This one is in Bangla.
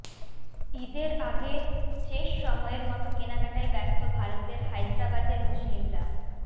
ঈদের আগে শেষ সময়ের মতো কেনাকাটায় ব্যস্ত ভারতের হায়দারাবাদের মুসলিমরা